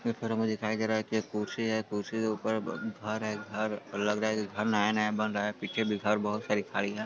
एक हमें दिखय दे रहा है की खुरशी है| खुरशी के ऊपर घर है| घर लग रहा है नया न्य बन रहा है और पीछे घर बहुत सारे खली है।